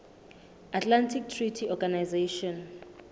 atlantic treaty organization